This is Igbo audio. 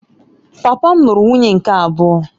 Papa m lụrụ nwunye nke abụọ